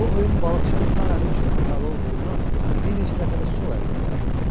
Bu oyun balıqçının sağ əli üçün xatalı olduğundan bir neçə dəfə də sol əllə yarışa girdi.